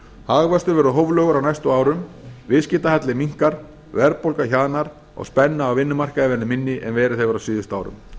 hagvöxtur verður hóflegur á næstu árum viðskiptahalli minnkar verðbólga hjaðnar og spenna á vinnumarkaði verður minni en verið hefur á síðustu árum